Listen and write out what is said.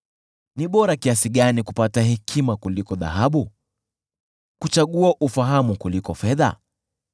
Ni bora kiasi gani kupata hekima kuliko dhahabu, kuchagua ufahamu kuliko fedha!